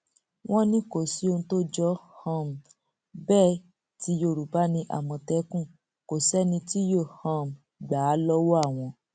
wọn ní kò sí ohun tó jọ um bẹẹ tí yorùbá ní àmọtẹkùn kò sẹni tí yóò um gbà á lọwọ àwọn